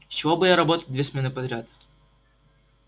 с чего бы ей работать две смены подряд